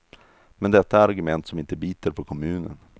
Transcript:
Men detta är argument som inte biter på kommunen.